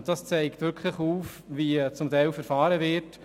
Das zeigt auf, wie zum Teil verfahren wird.